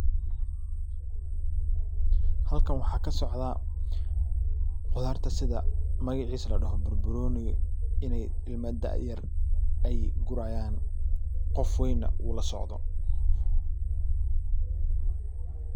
halkan waxaa kasocda qudarta sida magaciisa ladaho barbanooni inay ilma da'yar gurayaan qof wayna u lasocdo.